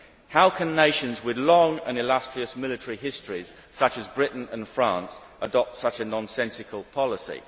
How can nations with long and illustrious military histories, such as Britain and France, adopt such a nonsensical policy?